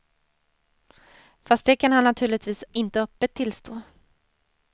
Fast det kan han naturligtvis inte öppet tillstå.